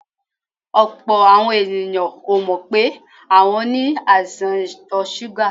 Ọ̀pọ̀ àwọn èèyàn ò mọ́ pé àwọn ní àìsàn ìtọ̀ súgà.